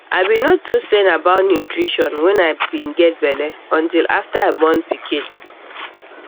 i be no too send about nutrition when i be get belle until after i born pikin